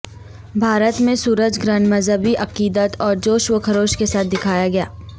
بھارت میں سورج گرہن مذہبی عقیدت اور جوش و خروش کے ساتھ دیکھا گیا